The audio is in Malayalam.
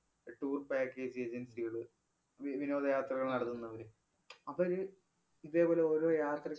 tour package agency കള്, വി~ വിനോദയാത്രകള്‍ നടത്തുന്നവര്, അവര് ഇതേപോലെ ഓരോ യാത്രയ്ക്ക്